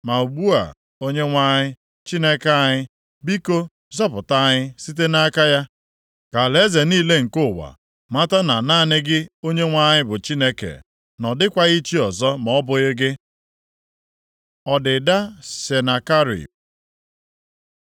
Ma ugbu a, Onyenwe anyị Chineke anyị, biko, zọpụta anyị site nʼaka ya, ka alaeze niile nke ụwa mata na naanị gị Onyenwe anyị bụ Chineke, na ọ dịkwaghị chi ọzọ ma ọ bụghị gị.” Ọdịda Senakerib